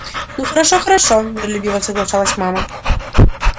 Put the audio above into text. ну хорошо хорошо миролюбиво соглашалась мама